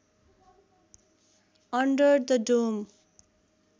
under the dome